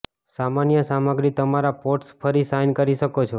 સામાન્ય સામગ્રી તમારા પોટ્સ ફરી શાઇન કરી શકો છો